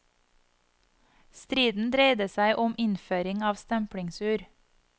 Striden dreide seg om innføring av stemplingsur.